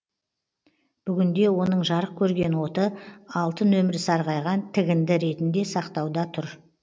бүгінде оның жарық көрген оты алты нөмірі сарғайған тігінді ретінде сақтауда тұр